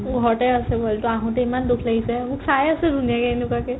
মোৰ ঘৰতে আছে পোৱালটো আহোতে ইমান দুখ লাগিছে মোক চাই আছে ধুনীয়াকে এনেকুৱাকে